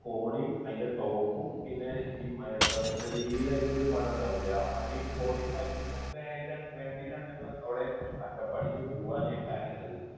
കോടയും അതിൻറെ top ഉം പിന്നെ എന്താ പറയുക, ചെറുതായിട്ട് ഉള്ള ഒരു മഴ ഉണ്ടാവില്ലേ? ആ മഴയും കോടയും മഞ്ഞും ഒക്കെ ആയിട്ടാണ്, വേണ്ടിയിട്ടാണ് ഞങ്ങളവിടെ അട്ടപ്പാടിക്ക് പോകാന് plan ഇട്ടത്.